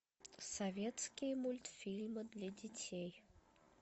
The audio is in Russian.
советские мультфильмы для детей